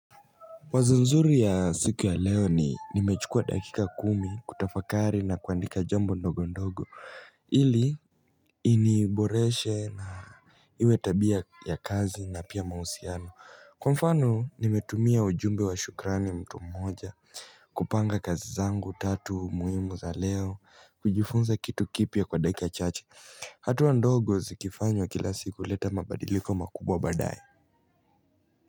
Wazo nzuri ya siku ya leo ni nimechukua dakika kumi kutafakari na kuandika jambo ndogo ndogo ili iniboreshe na Iwe tabia ya kazi na pia mahusiano Kwa mfano nimetumia ujumbe wa shukrani mtu mmoja kupanga kazi zangu tatu muhimu za leo kujifunza kitu kipya kwa dakika chache hatua ndogo zikifanywa kila siku huleta mabadiliko makubwa badaye.